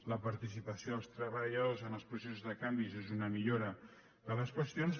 la participació dels treballadors en els processos de canvis és una millora de les qüestions